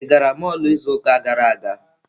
Ị gara mọlụ izu ụka gara aga?